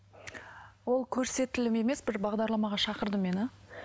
ол көрсетілім емес бір бағдарламаға шақырды мені